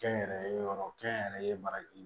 Kɛnyɛrɛye yɔrɔ kɛnyɛrɛye baraji